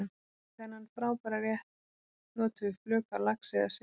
Í þennan frábæra rétt notum við flök af laxi eða silungi.